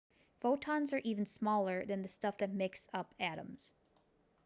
photons are even smaller than the stuff that makes up atoms